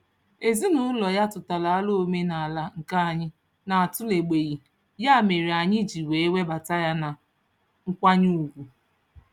Ezinụụlọ ya tụtara alo omenaala nke anyị na-atụlebeghị, ya mere anyị ji wee webata ya na nkwanye ugwu.